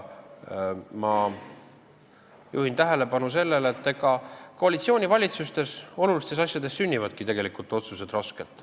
Ma juhin tähelepanu, et olulistes asjades sünnivadki koalitsioonivalitsustes otsused raskelt.